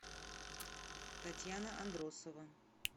татьяна андросова